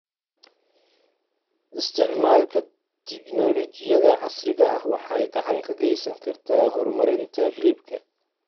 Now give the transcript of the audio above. Isticmaalka tignoolajiyada casriga ah waxay gacan ka geysan kartaa horumarinta hilibka.